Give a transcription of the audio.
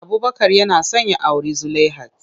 Abubakar yana son ya auri Zulaihat.